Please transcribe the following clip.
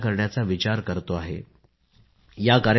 मात्र आज मी सांगू इच्छितो त्यांनी संपूर्ण देशाला प्रेरणा दिली आहे